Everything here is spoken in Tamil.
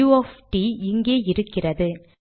உ ஒஃப் ட் இங்கே இருக்கிறது